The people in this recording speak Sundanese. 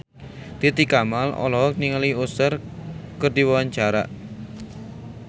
Titi Kamal olohok ningali Usher keur diwawancara